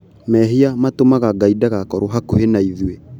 Mehia matũmaga Ngaĩ ndagakoro hakuhĩ na ithuĩ